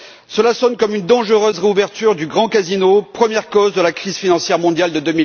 Cela sonne comme une dangereuse réouverture du grand casino, première cause de la crise financière mondiale de